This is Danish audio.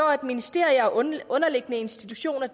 at ministeriet og underliggende institutioner